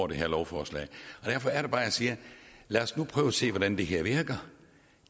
det her lovforslag derfor er det bare jeg siger lad os nu prøve at se hvordan det her virker